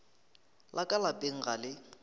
la ka lapeng ga le